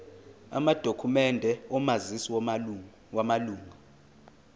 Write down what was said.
amadokhumende omazisi wamalunga